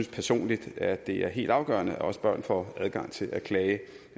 personligt at det er helt afgørende at også børn får adgang til at klage